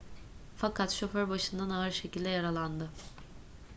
fakat şoför başından ağır şekilde yaralandı